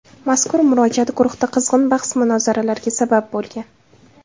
Mazkur murojaat guruhda qizg‘in bahs-munozaralarga sabab bo‘lgan.